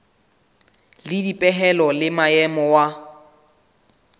le dipehelo le maemo wa